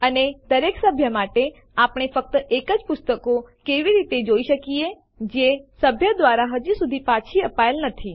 અને દરેક સભ્ય માટે આપણે ફક્ત એજ પુસ્તકો કેવી રીતે જોઈ શકીએ જે એ સભ્ય દ્વારા હજુ સુધી પાછી અપાયેલ નથી